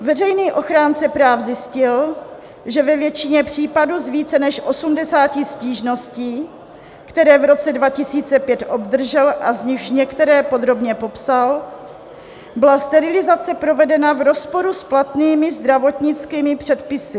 Veřejný ochránce práv zjistil, že ve většině případů z více než 80 stížností, které v roce 2005 obdržel a z nichž některé podrobně popsal, byla sterilizace provedena v rozporu s platnými zdravotnickými předpisy.